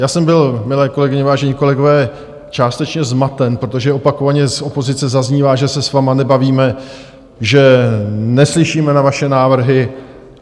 Já jsem byl, milé kolegyně, vážení kolegové, částečně zmaten, protože opakovaně z opozice zaznívá, že se s vámi nebavíme, že neslyšíme na vaše návrhy.